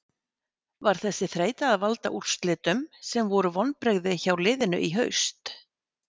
Var þessi þreyta að valda úrslitum sem voru vonbrigði hjá liðinu í haust?